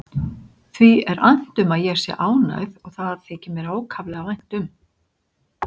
Því er annt um að ég sé ánægð og það þykir mér ákaflega vænt um.